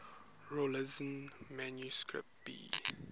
rawlinson manuscript b